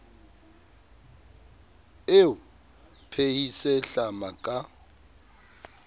e o phehise hlama ka